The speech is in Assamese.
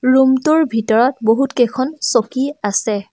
ৰূম টোৰ ভিতৰত বহুত কেইখন চকী আছে।